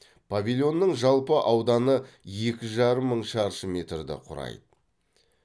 павильонның жалпы ауданы екі жарым мың шаршы метрді құрайды